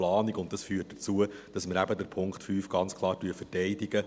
Und das führt dazu, dass wir den Punkt 5 ganz klar verteidigen.